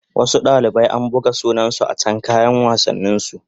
Wasu dalibai an buga sunansu a can kayan wassanin su